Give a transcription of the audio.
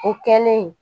O kɛlen